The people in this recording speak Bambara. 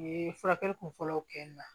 U ye furakɛli kunfɔlɔw kɛ n na